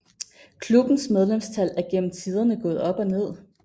Klubbens medlemstal er gennem tiderne gået op og ned